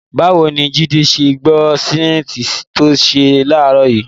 Báwo ni Jídé ṣe gbọ́ ṣainíìsì tó ń sọ láàárọ̀ yìí?